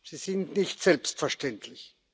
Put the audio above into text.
sie sind nicht selbstverständlich.